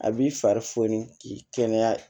A b'i fari foni k'i kɛnɛya